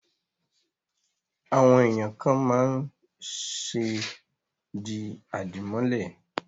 Àwọn èèyàn kàn máa ń ṣe di àdìmọ́lẹ̀